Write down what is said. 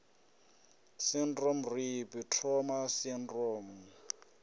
syndrome rape trauma sydrome u